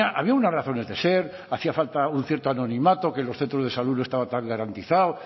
había unas razones de ser hacía falta un cierto anonimato que en los centros de salud no estaba tan garantizado